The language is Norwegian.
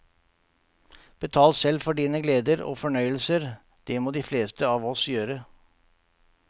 Betal selv for dine gleder og fornøyelser, det må de fleste av oss gjøre.